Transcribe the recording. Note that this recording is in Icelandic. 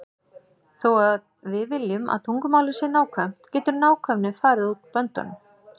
Þó að við viljum að tungumálið sé nákvæmt getur nákvæmnin farið út böndunum.